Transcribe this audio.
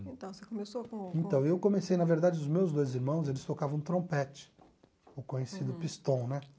Então, você começou com com... Então, eu comecei, na verdade, os meus dois irmãos, eles tocavam trompete, o conhecido pistão, né?